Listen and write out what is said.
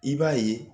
I b'a ye